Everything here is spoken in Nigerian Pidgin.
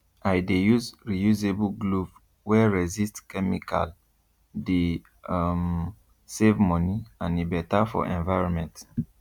i dey use reusable glove wey resist chemicale dey um save money and e better for environment